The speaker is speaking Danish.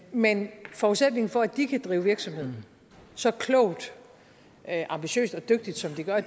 men forudsætningen for at de kan drive virksomhed så klogt ambitiøst og dygtigt som de gør